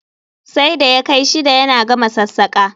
Sai da ya kai shida yana gama sassaƙa